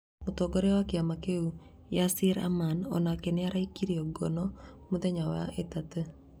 Mũtongoria wa kĩama kĩu Yasir Arman onake nĩaraikirio ngono mũthenya wa wetatũ